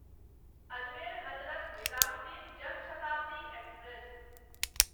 Ajmer Hazrat Nizamuddin Jan Shatabdi express